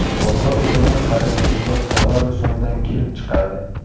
Sovg‘a rusumi xarid qilingan tovar rusumidan kelib chiqadi.